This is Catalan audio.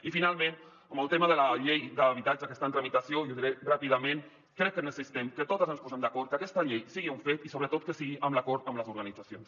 i finalment en el tema de la llei d’habitatge que està en tramitació i ho diré ràpidament crec que necessitem que totes ens posem d’acord que aquesta llei sigui un fet i sobretot que sigui amb l’acord amb les organitzacions